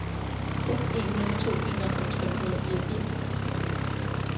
seks en nul to enoghalvfems fem hundrede og fireogfirs